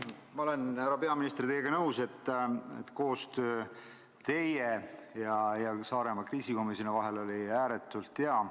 Ma olen, härra peaminister, teiega nõus, et koostöö teie ja Saaremaa kriisikomisjoni vahel oli ääretult hea.